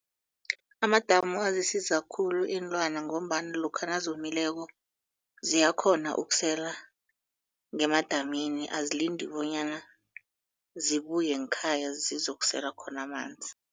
Amadamu azisiza khulu iinlwana ngombana lokha nazomileko ziyakghona ukusela ngemadamini azilindi bonyana zibuye ngekhaya zizokusela khona amanzi.